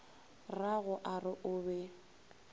rrago a re o be